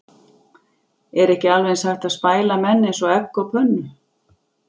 Er ekki alveg eins hægt að spæla menn eins og egg á pönnu?